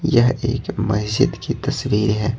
यह एक मस्जिद की तस्वीर है।